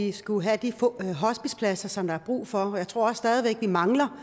vi skulle have de hospicepladser som der er brug for og jeg tror at vi stadig væk mangler